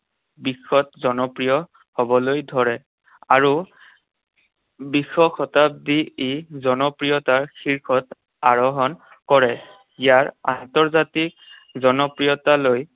বিশ্বত জনপ্ৰিয় হবলৈ ধৰে। আৰু বিশ শতাব্দীত ই জনপ্ৰিয়তাৰ শীৰ্ষত আৰোহণ কৰে। ইয়াৰ আন্তৰ্জাতিক জনপ্ৰিয়তা লৈ